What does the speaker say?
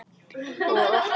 og af hverju?